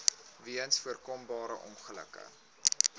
weens voorkombare ongelukke